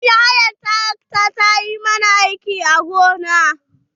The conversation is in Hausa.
Mun yi hayar tarakta ta yo ma na aiki a gona.